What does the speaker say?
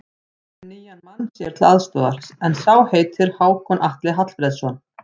Orri er kominn með nýjan mann sér til aðstoðar, en sá heitir Hákon Atli Hallfreðsson.